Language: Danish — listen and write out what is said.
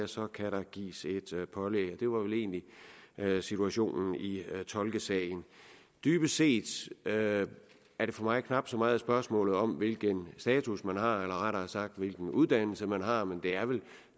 så kan der gives et pålæg det var vel egentlig situationen i tolkesagen dybest set er det for mig knap så meget spørgsmålet om hvilken status man har eller rettere sagt hvilken uddannelse man har men det er vel